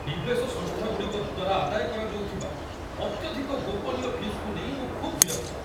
ନିବେଶ ସଂସ୍ଥାଗୁଡ଼ିକ ଦ୍ୱାରା ଆଦାୟ କରାଯାଉଥିବା ଅତ୍ୟଧିକ ଗୋପନୀୟ ଫିସ୍‌କୁ ନେଇ ମୁଁ ଖୁବ୍ ବିରକ୍ତ।